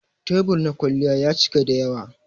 Tebur na kwalliya ya cika dayawa.